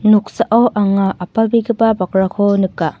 noksao anga apalbegipa bakrako nika.